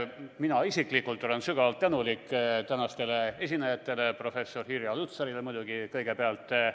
Mina isiklikult olen sügavalt tänulik tänastele esinejatele, professor Irja Lutsarile muidugi kõigepealt.